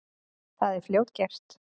Það er fljótgert.